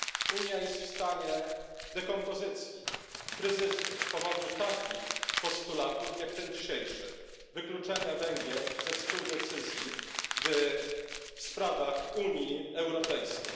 Unia jest w stanie dekompozycji, kryzysu, z powodu takich postulatów jak ten dzisiejszy, czyli postulatu wykluczenia Węgier ze współdecyzji w sprawach Unii Europejskiej.